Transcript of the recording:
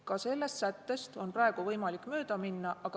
Ka sellest sättest on praegu võimalik mööda minna.